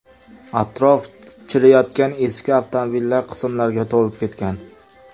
Atrof chiriyotgan eski avtomobillar qismlariga to‘lib ketgan.